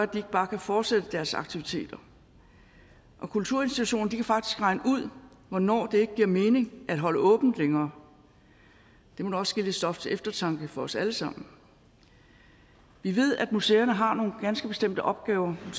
de ikke bare kan fortsætte deres aktiviteter og kulturinstitutionerne kan faktisk regne ud hvornår det ikke giver mening at holde åbent længere det må da også give lidt stof til eftertanke for os alle sammen vi ved at museerne har nogle ganske bestemte opgaver og